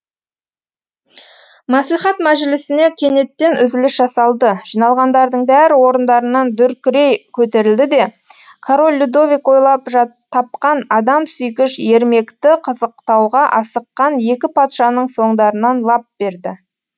мәслихат мәжілісіне кенеттен үзіліс жасалды жиналғандардың бәрі орындарынан дүркірей көтерілді де король людовик ойлап тапқан адамсүйгіш ермекті қызықтауға асыққан екі патшаның соңдарынан лап берді